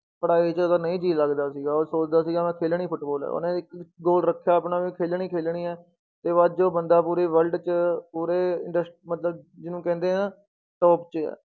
ਪੜ੍ਹਾਈ 'ਚ ਉਹਦਾ ਨਹੀਂ ਜੀਅ ਲੱਗਦਾ ਸੀਗਾ, ਉਹ ਸੋਚਦਾ ਸੀਗਾ ਮੈਂ ਖੇਲਣੀ ਫੁਟਬਾਲ ਹੈ ਉਹਨੇ ਇੱਕ goal ਰੱਖਿਆ ਆਪਣਾ ਖੇਲਣੀ ਖੇਲਣੀ ਹੈ ਤੇ ਅੱਜ ਉਹ ਬੰਦਾ ਪੂਰੇ world 'ਚ ਪੂਰੇ ਇੰਡਸ~ ਮਤਲਬ ਜਿਹਨੂੰ ਕਹਿੰਦੇ ਹੈ ਨਾ top ਤੇ ਹੈ।